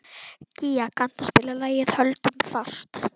Gía, kanntu að spila lagið „Höldum fast“?